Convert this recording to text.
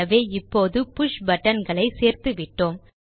ஆகவே இப்போது புஷ் buttonகளை சேர்த்துவிட்டோம்